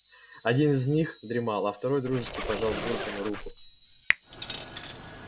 один из них дремал а второй дружески пожал бурбону руку